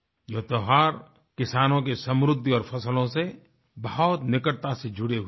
ये त्यौहार किसानों की समृद्धि और फसलों से बहुत निकटता से जुड़े हुए हैं